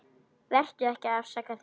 Vertu ekki að afsaka þig.